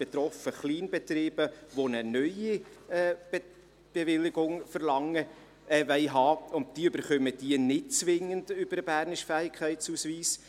Betroffen sind Kleinbetriebe, die eine neue Bewilligung verlangen oder haben wollen, und diese erhalten sie nicht zwingend über den bernischen Fähigkeitsausweis.